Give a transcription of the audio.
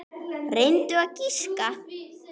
Reyndu að giska.